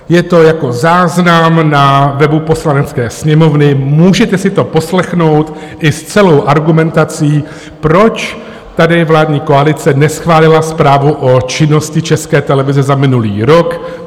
Je to jako záznam na webu Poslanecké sněmovny, můžete si to poslechnout i s celou argumentací, proč tady vládní koalice neschválila zprávu o činnosti České televize za minulý rok.